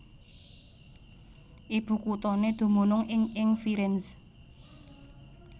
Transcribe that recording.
Ibukuthané dumunung ing ing Firenze